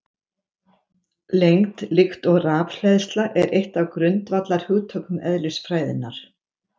Lengd, líkt og rafhleðsla, er eitt af grundvallarhugtökum eðlisfræðinnar.